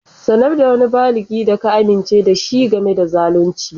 Sanar da wani baligi da ka amince da shi game da zalunci.